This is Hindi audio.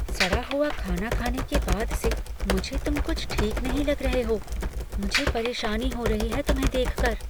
सड़ा हुआ खाना खाने के बाद से मुझे तुम कुछ ठीक नहीं लग रहे हो। मुझे परेशानी हो रही है तुम्हें देख कर।